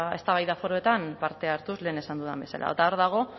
eztabaida foroetan parte hartuz lehen esan dudan bezala eta hor dago